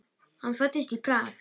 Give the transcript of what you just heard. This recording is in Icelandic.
Hann fæddist í Prag.